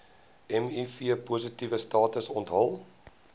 mivpositiewe status onthul